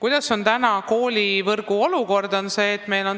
Milline on praegu koolivõrgu olukord?